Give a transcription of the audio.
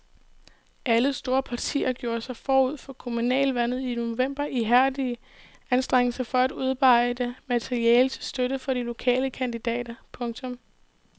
Alle store partier gjorde sig forud for kommunalvalget i november ihærdige anstrengelser for at udarbejde materiale til støtte for de lokale kandidater. punktum